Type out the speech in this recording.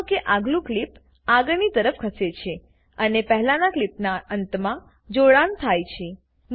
નોંધ લો કે આગલું ક્લીપ આગળની તરફ ખસે છે અને પહેલાનાં ક્લીપનાં અંતમાં જોડાણ થાય છે